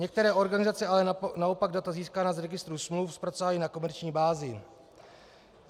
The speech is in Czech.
Některé organizace ale naopak data získaná z registru smluv zpracovávají na komerční bázi.